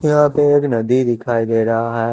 यहां पे एक नदी दिखाई दे रहा है।